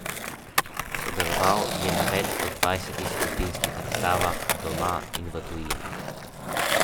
Sodeloval je na več kot dvajsetih skupinskih razstavah doma in v tujini.